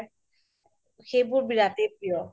সেইবোৰ বিৰাতে প্ৰিয়